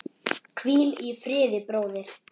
Hvíl í friði, bróðir.